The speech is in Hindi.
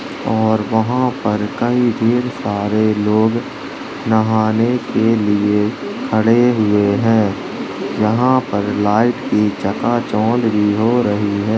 और वहा पर कई ढेर्-सारे लोग नहाने के लिए खड़े हुए है यहा पर लाइट की चका-चौनद भी हो रही है।